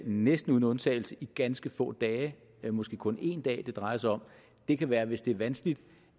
næsten uden undtagelse i ganske få dage det er måske kun en dag det drejer sig om det kan være hvis det er vanskeligt